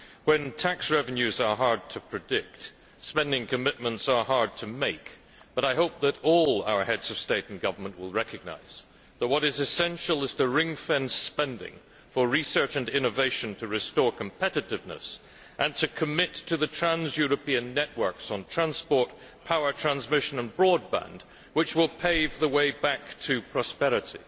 When tax revenues are hard to predict, spending commitments are hard to make, but I hope that all our Heads of State and Government will recognise that what is essential is to ring fence spending for research and innovation to restore competitiveness and to commit to the trans European networks on transport, power transmission and broadband, which will pave the way back to prosperity.